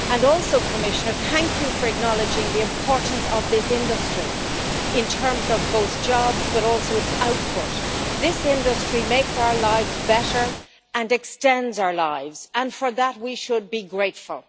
Also, Commissioner, thank you for acknowledging the importance of this industry in terms of both jobs and its output. This industry makes our lives better and extends our lives, and for that we should be grateful.